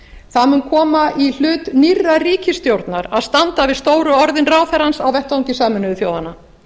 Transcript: það mun koma í hlut nýrrar ríkisstjórnar að standa við stóru orðin ráðherrans á vettvangi sameinuðu þjóðanna